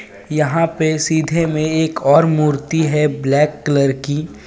यहां पे सीधे में एक और मूर्ति है ब्लैक कलर की.